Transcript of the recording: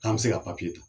K'an bɛ se ka ta